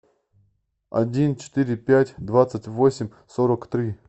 один четыре пять двадцать восемь сорок три